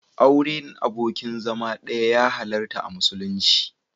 Auren abokin zama ɗaya ya halarta a musulunci.